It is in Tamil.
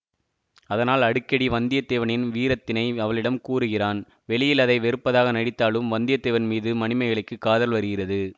அதனால் அடிக்கடி வந்தியத்தேவனின் வீரத்தினை அவளிடம் கூறுகிறான் வெளியில் அதை வெறுப்பதாக நடித்தாலும் வந்தியத்தேவன் மீது மணிமேகலைக்குக் காதல் வருகிறது